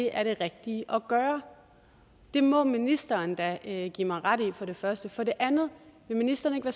er det rigtige at gøre det må ministeren da da give mig ret i for det første for det andet vil ministeren ikke